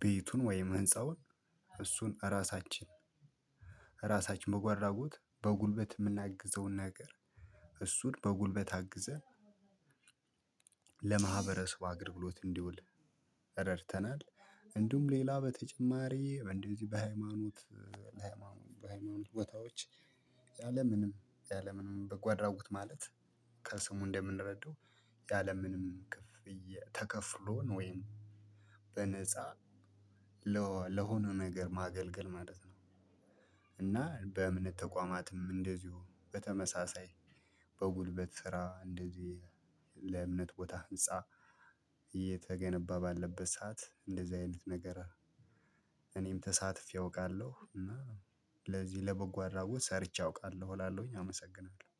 ቤቱን ወይም ህንፃውን እሱን እራሳችን እራሳችን መጓአድራጎት በጉልበት የምናግዘውን ነገር እሱን በጉልበት አግዘን ለማህበረሰብ አገልግሎት እንዲውል ረድተናል። እንዲሁም ሌላ በተጨማሪ በእንደዚህ በሃይማኖት ለሃይማኖት በሃይማኖት ቦታዎች ያለምንም ያለምንም በጓአድራጎት ማለት ከስሙ እንደምንረዳው ያለምንም ክፍያ ተከፍሎን ወይም በነፃ ለሆነ ነገር ማገልገል ማለት ነው። እና በእምነት ተቋማትም እንደዚሁ በተመሳሳይ ስራ እንደዚህ ለእምነት ቦታ ህንፃ እየተገነባ ባለበት ሰዓት እንደዚህ አይነት ነገር እኔም ተሳትፌ አውቃለሁ። እና ለዚህ ለበጎ አድራጎት ሰርቼ አውቃለሁ እላለሁኝ አመሰግናለሁ